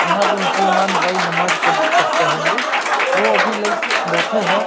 यहाँ पे मुसलमान भई नमाज पड़ पढ़ते होगे वो अभी लाइक बेठे हैं।